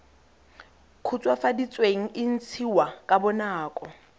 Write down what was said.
khutswafaditsweng se ntshiwa ka bonako